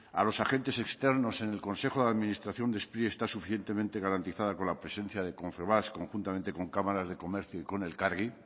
a los agentes externos en el consejo de administración de spri está suficientemente garantizada con la presencia de confebask conjuntamente con cámaras de comercio y con elkargi